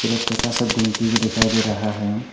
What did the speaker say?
एक छोटा सा गुमती भी दिखाई दे रहा है।